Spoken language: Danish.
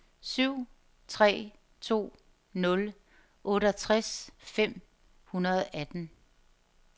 syv tre to nul otteogtres fem hundrede og atten